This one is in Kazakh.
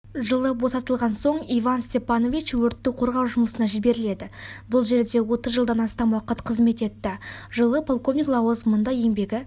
жылы босатылған соң иван степанович өртті қорғау жұмысына жіберіледі бұл жерде отыз жылдам астам уақыт қызмет етті жылы полковник лауазымында еңбегі